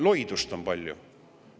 Loidust on palju!